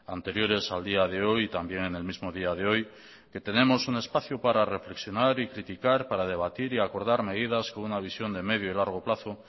anteriores al día de hoy y también en el mismo día de hoy que tenemos un espacio para reflexionar y criticar para debatir y acordar medidas con una visión de medio y largo plazo